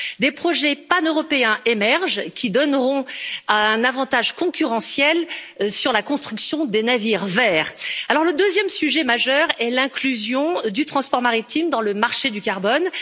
Des projets paneuropéens émergent et donneront un avantage concurrentiel sur la construction des navires verts. Le deuxième sujet majeur est l'inclusion du transport maritime dans le marché du carbone.